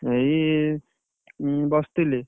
ଏଇ ବସିଥିଲି,